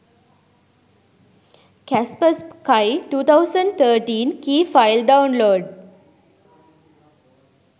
kaspersky 2013 key file download